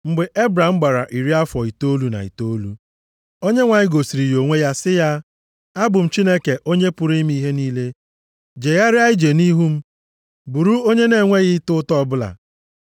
Mgbe Ebram gbara iri afọ itoolu na itoolu, Onyenwe anyị gosiri ya onwe ya sị ya, “Abụ m Chineke Onye pụrụ ime ihe niile. Jegharịa ije nʼihu m, bụrụ onye na-enweghị ịta ụta ọbụla.